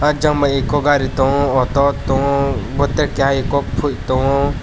o jang bai eko gari tongo auto tango botei keha eko poi tango.